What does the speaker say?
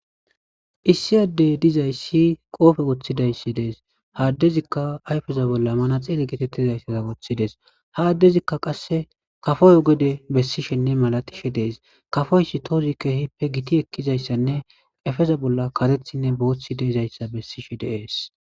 Issi addey dizayssi qoofe woththidayssi dees haaddezikka ayfeza bolla mana xeele geetettizayssaza woththidees ha addezikka qasse kafoyo gede bessishenne malatishe dees kafoysi toozikkehippe giti ekkizayssanne efeza bolla karethinne booththi deizayssa bessishe deees.